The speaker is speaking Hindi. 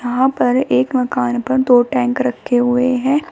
यहां पर एक मकान पर दो टैंक रखे हुए हैं।